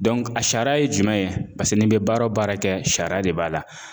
a sariya ye jumɛn ye paseke n'i bɛ baara o baara kɛ sariya de b'a la.